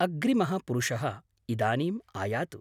अग्रिमः पुरुषः इदानीम् आयातु!